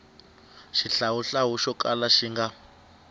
xihlawuhlawu xo kala xi nga